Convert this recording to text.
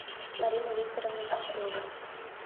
марина викторовна киселева